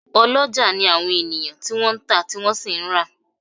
Oloja ni àwọn ènìyàn tí wọ́n ń ta, tí wọ́n sì ń ra